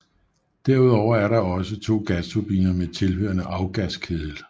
Derudover er der også to gasturbiner med tilhørende afgaskedel